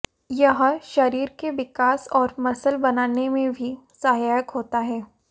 यह शरीर के विकास और मसल बनाने में भी सहायक होता है